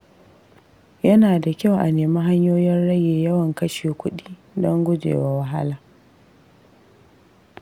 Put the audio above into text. Yana da kyau a nemi hanyoyin rage yawan kashe kuɗi don gujewa wahala.